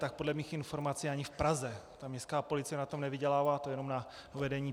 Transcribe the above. Tak podle mých informací ani v Praze ta městská policie na tom nevydělává, to jenom na uvedení.